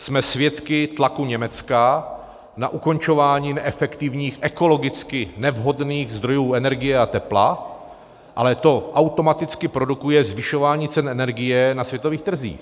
Jsme svědky tlaku Německa na ukončování neefektivních, ekologicky nevhodných zdrojů energie a tepla, ale to automaticky produkuje zvyšování cen energie na světových trzích.